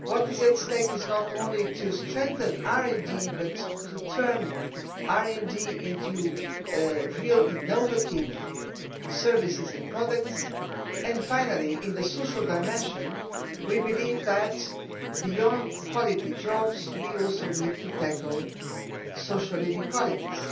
what is at stake is not only to strengthen RD but to turn RD into real innovative services and products, and finally, in the social dimension, we believe that beyond quality jobs we also need to tackle social inequalities.